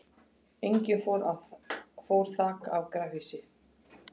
Einnig fór þak af garðhýsi